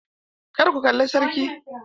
Kar ku kalla sarki!